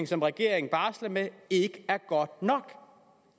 som regeringen barsler med ikke er god nok